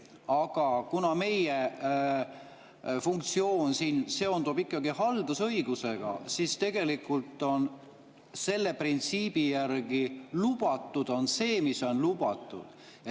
Aga kuna meie funktsioon siin seondub ikkagi haldusõigusega, siis selle printsiibi järgi on lubatud see, mis on lubatud.